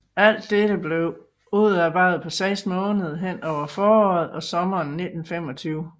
Alt dette blev udarbejdet på seks måneder hen over foråret og sommeren 1925